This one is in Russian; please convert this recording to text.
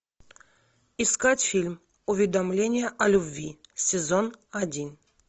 искать фильм уведомление о любви сезон один